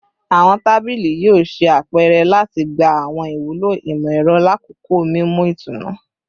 Awọn tabili yoo ṣe apẹrẹ lati gba awọn iwulo imọ-ẹrọ lakoko mimu itunu